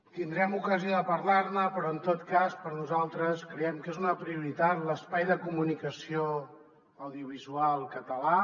tindrem ocasió de parlar ne però en tot cas nosaltres creiem que és una prioritat l’espai de comunicació audiovisual català